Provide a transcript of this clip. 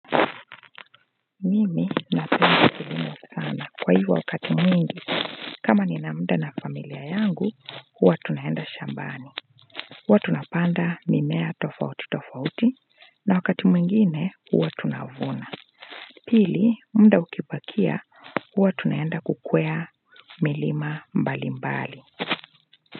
Mimi nape kwa hivyo wakati mwingi kama ni na mda na familia yangu huwa tunaenda shambani uwa tunapanda mimea tofauti tofauti na wakati mwingine uwa tunavuna pili mda ukipakia uwa tunaenda kukwea milima mbali mbali.